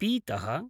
पीतः